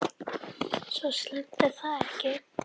Svo slæmt er það ekki.